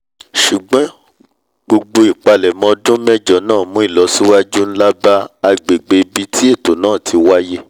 ṣùgbọ́n gbogbo ìpalẹ̀mọ́ ọdún mẹ́jọ náà mú ilọsíwájú nlá bá agbègbè ibi tí ètò náà ti wáíyé